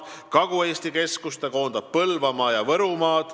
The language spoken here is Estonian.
Kagu-Eesti keskus koondab Põlvamaa ja Võrumaa.